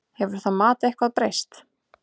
Hefur það mat eitthvað breyst?